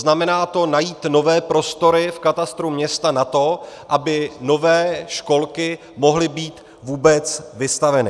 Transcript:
Znamená to najít nové prostory v katastru města na to, aby nové školky mohly být vůbec vystaveny.